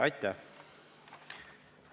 Aitäh!